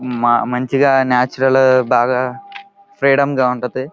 మా మంచిగా నాచురల్ బాగా ఫ్రీడంగా ఉంటది.